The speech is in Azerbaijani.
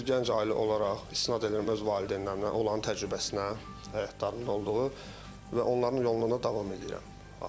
Bir gənc ailə olaraq istinad eləyirəm öz valideynlərimin, onların təcrübəsinə həyatlarında olduğu və onların yolunda da davam eləyirəm ailə həyatıma.